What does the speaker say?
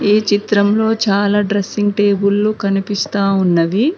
ఈ చిత్రంలో చాలా డ్రెస్సింగ్ టేబులు కనిపిస్తా ఉన్నవి.